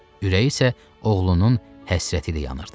Ürəyi isə oğlunun həsrəti ilə yanırdı.